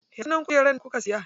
Ya sunan kujerar da kuka siya?